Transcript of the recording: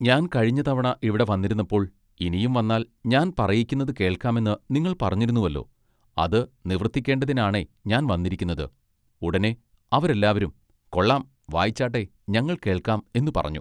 ഞാൻ കഴിഞ്ഞ തവണ ഇവിടെ വന്നിരുന്നപ്പോൾ ഇനിയും വന്നാൽ ഞാൻ പറയിക്കുന്നത് കേൾക്കാമെന്ന് നിങ്ങൾ പറഞ്ഞിരുന്നുവല്ലൊ അത് നിവൃത്തിക്കെണ്ടതിനാണേ ഞാൻ വന്നിരിക്കുന്നത് ഉടനെ അവരെല്ലാവരും കൊള്ളാം വായിച്ചാട്ടെ ഞങ്ങൾ കേൾക്കാം എന്ന് പറഞ്ഞു.